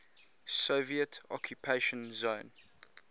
soviet occupation zone